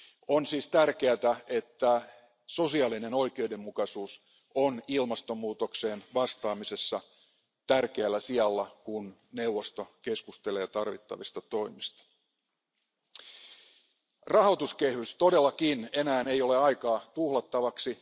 On siis tärkeää, että sosiaalinen oikeudenmukaisuus on ilmastonmuutokseen vastaamisessa tärkeällä sijalla, kun neuvosto keskustelee tarvittavista toimista. Rahoituskehyksen suhteen ei todellakaan ole enää aikaa tuhlattavaksi.